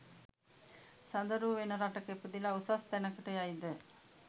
සඳරූ වෙන රටක ඉපදිලා උසස් තැනකට යයිද?